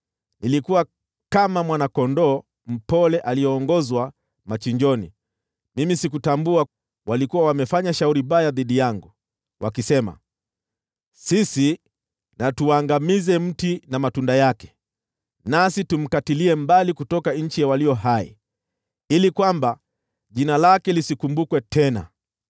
Nilikuwa kama mwana-kondoo mpole aliyeongozwa machinjoni; mimi sikutambua kwamba walikuwa wamefanya shauri baya dhidi yangu, wakisema, “Sisi na tuuangamize mti na matunda yake; nasi tumkatilie mbali kutoka nchi ya walio hai, ili jina lake lisikumbukwe tena.”